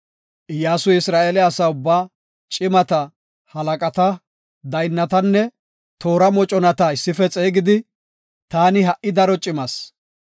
Iyyasuy, Isra7eele asa ubbaa, cimata, halaqata, daynnatanne toora moconata issife xeegidi, “Taani ha77i daro cimas.